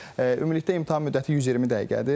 Ümumilikdə imtahan müddəti 120 dəqiqədir.